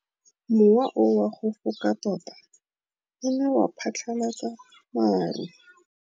Mowa o wa go foka tota o ne wa phatlalatsa maru.